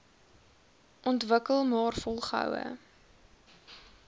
ontwikkel maar volgehoue